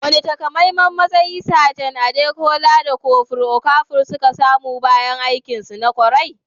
Wane takamaiman matsayi Sajan Adekunle da Kofur Okafor suka samu bayan aikinsu na ƙwarai?